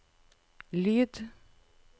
lyd